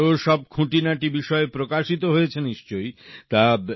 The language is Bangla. তারও সব খুঁটিনাটি বিষয় প্রকাশিত হয়েছে নিশ্চয়ই